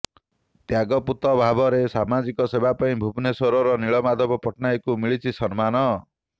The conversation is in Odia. ତ୍ୟାଗପୂତ ଭାବରେ ସାମାଜିକ ସେବା ପାଇଁ ଭୁବନେଶ୍ୱରର ନୀଳମାଧବ ପଟ୍ଟନାୟକଙ୍କୁ ମିଳିଛି ସମ୍ମାନ